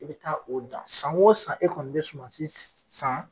E be taa o dan san o san e kɔni be suman si san